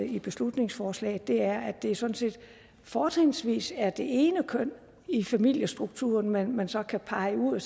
i beslutningsforslaget er at det sådan set fortrinsvis er det ene køn i familiestrukturen man man så kan pege ud og